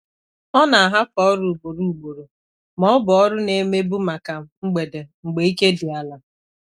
Ọ hapụrụ ọrụ ndị ọ na-arụ kwa mgbe ka ha bụrụ n'oge mgbede mgbe ike dị obere.